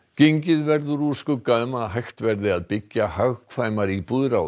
gengið verður úr skugga um að hægt verði að byggja hagkvæmar íbúðir á